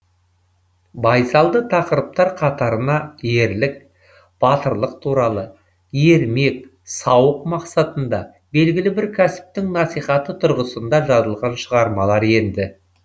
байсалды тақырыптар қатарына ерлік батырлық туралы ермек сауық мақсатында белгілі бір кәсіптің насихаты тұрғысында жазылған шығармалар енді